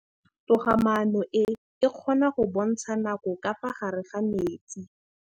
Toga-maanô e, e kgona go bontsha nakô ka fa gare ga metsi.